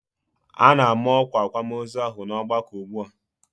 A na-ama ọkwa akwamozu ahụ n'ọgbakọ ugbu a.